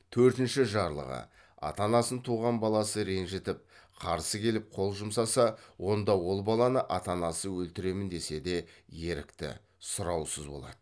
төртінші жарлығы ата анасын туған баласы ренжітіп қарсы келіп қол жұмсаса онда ол баланы ата анасы өлтіремін десе де ерікті сұраусыз болады